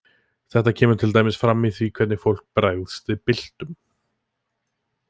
Þetta kemur til dæmis fram í því hvernig fólk bregst við byltum.